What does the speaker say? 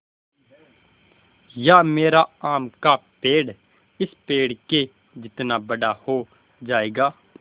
या मेरा आम का पेड़ इस पेड़ के जितना बड़ा हो जायेगा